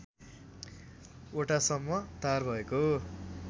वटासम्म तार भएको